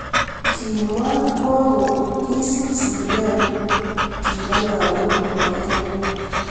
Kimwa ko ko kisib sigilet kibo kibo lagok nebo Kenya.